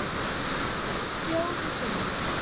Fjórum sinnum?